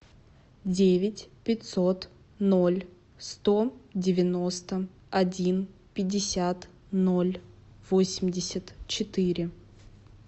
девять пятьсот ноль сто девяносто один пятьдесят ноль восемьдесят четыре